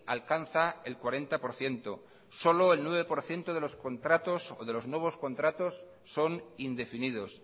alcanza el cuarenta por ciento solo el nueve por ciento de los contratos o de los nuevos contratos son indefinidos